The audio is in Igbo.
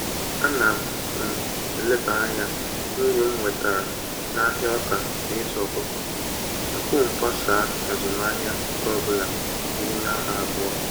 Ana m m eleba anya n'uru m nwetara n'ahịa ọka na ịzụ ọkụkọ tupu m gbasa azụmahịa nke ọbụla n'ime ha abụọ